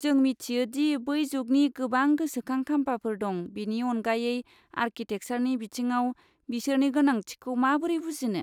जों मिथियो दि बै जुगनि गोबां गोसोखां खामफाफोर दं, बेनि अनगायै, आरकिटेकसारनि बिथिङाव बिसोरनि गोनांथिखौ माबोरै बुजिनो?